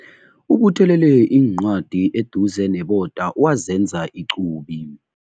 Ubuthelele iincwadi eduze neboda wazenza iqubi.